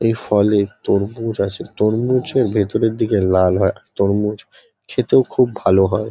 এই ফলে তরমুজ আছে। তরমুজও ভেতরের দিকে লাল হয়। তরমুজ খেতেও খুব ভাল হয়।